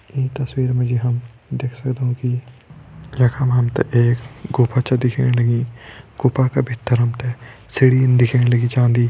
ईं तस्वीर मा जी हम देख सगदौं कि यखम हमतें एक गुफ़ा च दिखेण लगीं गुफ़ा क भित्तर हमतें सीढ़ीन दिख्येण लगीं जान्दि।